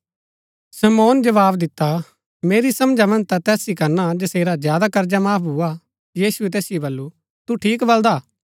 शमौन जवाव दिता मेरी समझा मन्ज ता तैस ही करना जसेरा ज्यादा कर्जा माफ भुआ यीशुऐ तैसिओ बल्लू तू ठीक बलदा